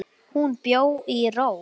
Hún bjó í ró.